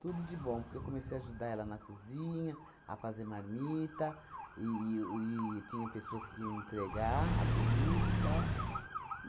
Tudo de bom, que eu comecei a ajudar ela na cozinha, a fazer marmita e e o e tinha pessoas que iam entregar a comida e tal.